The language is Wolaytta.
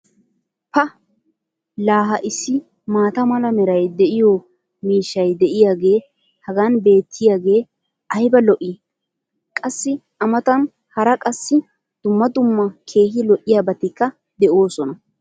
pa laa ha issi maata mala meray de'iyo miishshay diyaagee hagan beetiyaagee ayba lo'ii! qassi a matan hara qassi dumma dumma keehi lo'iyaabatikka de'oosona.